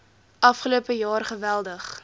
afgelope jaar geweldig